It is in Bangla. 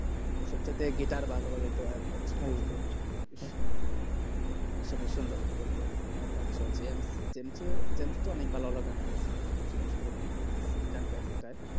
সব থেকে guitar ভালো বাজাইতো আইয়ুব বাচ্চু সুন্দর করতো আলাদা গান গাইতো অনেক সুন্দর সুন্দর গান গাই